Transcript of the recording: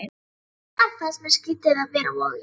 Samt fannst mér skrýtið að vera á Vogi.